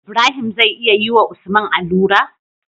Ibrahim zai iya yi wa usman alura?